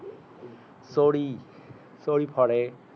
চৰি চৈ ফৰে